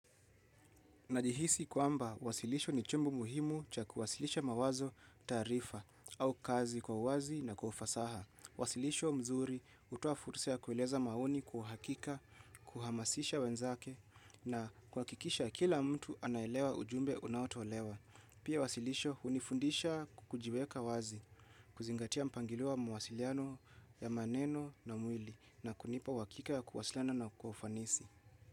Najihisi kwamba, wasilisho ni chombo muhimu cha kuwasilisha mawazo, taarifa au kazi kwa uwazi na kwa ufasaha. Wasilisho mzuri hutoa fursa ya kueleza maoni kwa uhakika, kuhamasisha wenzake na kuhakikisha kila mtu anaelewa ujumbe unaotolewa. Pia wasilisho hunifundisha kujiweka wazi, kuzingatia mpangilio wa mawasiliano ya maneno na mwili na kunipa uhakika ya kuwasiliana na kwa ufanisi.